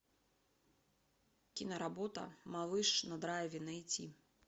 киноработа малыш на драйве найти